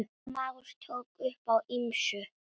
Már tók upp á ýmsu.